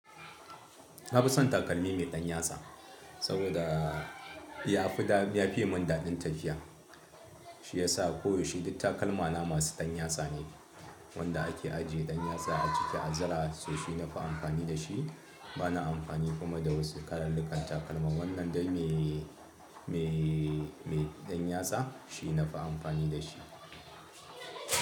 Na fi son takalmi mai ɗan yatsa saboda yafi dadin ya fiye mun dadin tafiya. Shi ya sa ko yaushe duk takalma na masu ɗan yatsa ne wanda ake ajiye ɗan yatsa a ciki, a zira so shi nafi amfani da shi. Bana amfani kuma da wasu kalullkan takalma. Wannan dai mai, mai, mai ɗan yatsa shi nafi amfani da shi.